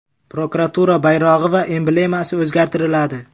Prokuratura bayrog‘i va emblemasi o‘zgartiriladi.